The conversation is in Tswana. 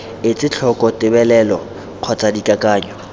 etse tlhoko tebelelo kgotsa dikakanyo